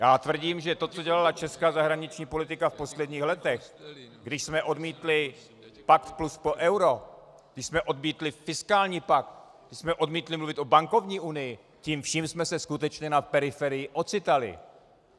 Já tvrdím, že to, co dělala česká zahraniční politika v posledních letech, když jsme odmítli Pakt plus pro euro, když jsme odmítli fiskální pakt, když jsme odmítli mluvit o bankovní unii, tím vším jsme se skutečně na periferii ocitali.